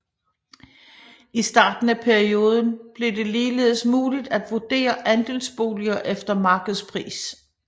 I starten af perioden blev det ligeledes muligt at vurdere andelsboliger efter markedspris